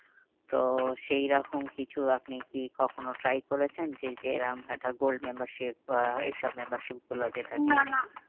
তো সেই রকম কিছু আপনি কি কখনো try করেছেন? যে এরম একটা gold membership আহ এই সব membership গুলো যেটা